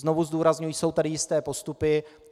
Znovu zdůrazňuji, jsou tady jisté postupy.